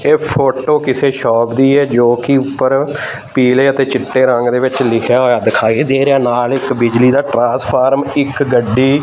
ਇਹ ਫੋਟੋ ਕਿਸੇ ਸ਼ਾਪ ਦੀ ਏ ਜੋ ਕਿ ਉੱਪਰ ਪੀਲੇ ਅਤੇ ਚਿੱਟੇ ਰੰਗ ਦੇ ਵਿੱਚ ਲਿਖਿਆ ਹੋਇਆ ਦਿਖਾਈ ਦੇ ਰਿਹਾ ਨਾਲ ਇੱਕ ਬਿਜਲੀ ਦਾ ਟਰਾਂਸਫਾਰਮ ਇੱਕ ਗੱਡੀ --